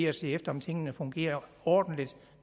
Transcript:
at se efter om tingene fungerer ordentligt